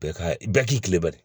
Bɛɛ ka bɛɛ k'i kilen bari